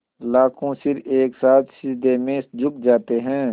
लाखों सिर एक साथ सिजदे में झुक जाते हैं